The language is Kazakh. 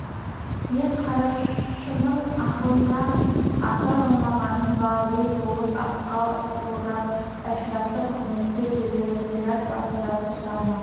мен қарашының ақылынан аса алмағаным ба ел болып аққа орап әшірапты құрметтеп жерлеген зират басында сұлтанның